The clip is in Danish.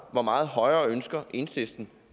hvor meget højere ønsker enhedslisten